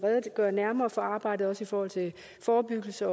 redegøre nærmere for arbejdet også i forhold til forebyggelse